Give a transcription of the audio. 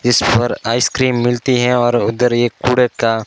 इस पर आइसक्रीम मिलती हैं और उधर एक कूड़े का--